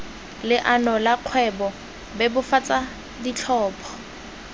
leano la kgwebo bebofatsa ditlhopho